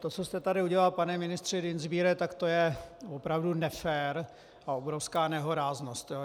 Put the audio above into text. To, co jste tady udělal pane ministře Dienstbiere, tak to je opravdu nefér a obrovská nehoráznost.